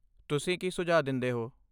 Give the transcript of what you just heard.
ਤੁਸੀਂ ਕੀ ਸੁਝਾਅ ਦਿੰਦੇ ਹੋ?